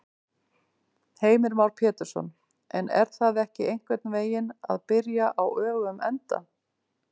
Heimir Már Pétursson: En er það ekki einhvern veginn að byrja á öfugum enda?